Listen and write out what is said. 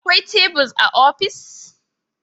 Akwai tebura a ofis